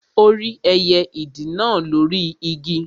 Ó rí ẹyẹ ìdì náà lóri Igi